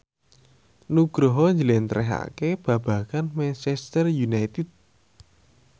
Nugroho njlentrehake babagan Manchester united